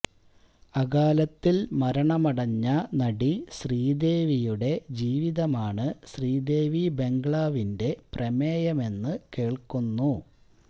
അകാലത്തില് മരണമടഞ്ഞ നടി ശ്രീദേവിയുടെ ജീവിതമാണ് ശ്രീദേവി ബംഗ്ലാവിന്റെ പ്രമേയമെന്ന് കേള്ക്കുന്നു